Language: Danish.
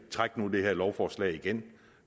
træk nu det her lovforslag igen